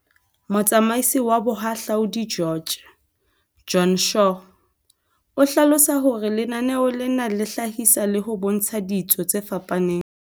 Motsamaisi wa tsa Boha hlaudi George, Joan Shaw, o hlalosa hore lenaneo lena le hlahisa le ho bontsha ditso tse fapaneng.